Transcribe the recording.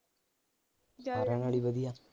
ਸਾਰਿਆਂ ਨਾਲ ਈ ਵਧੀਆ